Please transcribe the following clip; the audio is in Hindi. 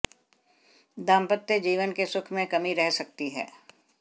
दांम्पत्य जीवन के सुख में कमी रह सकती है